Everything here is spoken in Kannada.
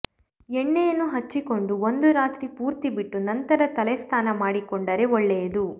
ಎಣ್ಣೆಯನ್ನು ಹಚ್ಚಿಕೊಂಡು ಒಂದು ರಾತ್ರಿ ಪೂರ್ತಿ ಬಿಟ್ಟು ನಂತರ ತಲೆ ಸ್ನಾನ ಮಾಡಿಕೊಂಡರೆ ಒಳ್ಳೆಯದು